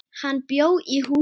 Hann bjó í húsinu.